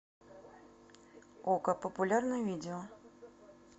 окко популярные видео